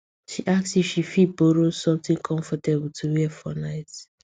she ask if she fit borrow something comfortable to wear for night